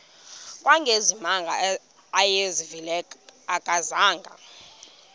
kangangezimanga awayezivile akazanga